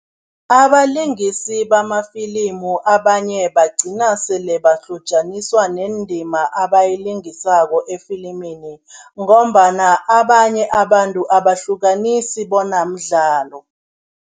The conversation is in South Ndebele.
Abalingisi bamafilimu abanye bagcina sele bahlotjaniswa nendima abayilingisako efilimini ngombana abanye abantu abahlukanisi bona mdlalo.